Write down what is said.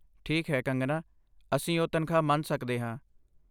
ਠੀਕ ਹੈ, ਕੰਗਨਾ, ਅਸੀਂ ਉਹ ਤਨਖਾਹ ਮਨ ਸਕਦੇ ਹਾਂ